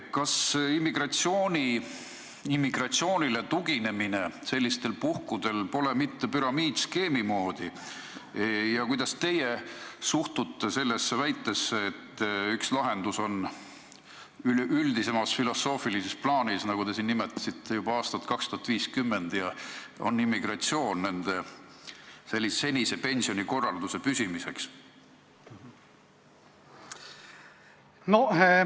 Kas sellistel puhkudel immigratsioonile tuginemine pole mitte püramiidskeemi moodi ja kuidas teie suhtute sellesse väitesse, et üks lahendus üleüldisemas filosoofilises plaanis – te siin nimetasite juba aastat 2050 – on senise pensionikorralduse püsimiseks immigratsioon?